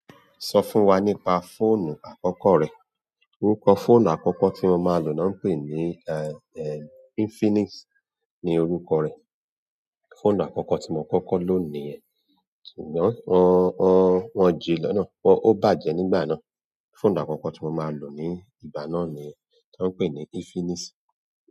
Sọ fún wa nípa fóònù àkọ́kọ́ rẹ. Orúkọ fóònù àkọ́kọ́ tí mo máa lò náà ń pè ní, eh, eh, Infinix ni orúkọ rẹ̀. Fóònù àkọ́kọ́ tí mo kọ́kọ́ lò ní yẹ, ṣùgbọ́n wọ́n, wọ́n, wọ́n jì í lọ náà. Wọ́n, ó bàjẹ́ nígbà náà. Fóònù àkọ́kọ́ tí mo máa lò ní ìgbà náà ni, tọ ń pè ní Infinix.